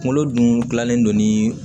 Kunkolo dun gilannen don ni